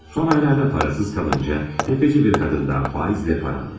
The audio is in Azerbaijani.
Son aylarda pulsuz qalınca, sələmçi bir qadından faizlə pul alır.